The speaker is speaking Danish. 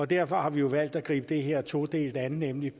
derfor har vi jo valgt at gribe det her todelt an nemlig